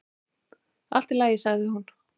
"""Allt í lagi, sagði hún."""